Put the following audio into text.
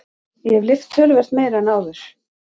Ég hef lyft töluvert meira en áður.